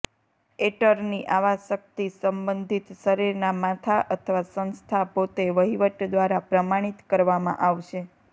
attorney આવા શક્તિ સંબંધિત શરીરના માથા અથવા સંસ્થા પોતે વહીવટ દ્વારા પ્રમાણિત કરવામાં આવશે